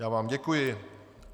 Já vám děkuji.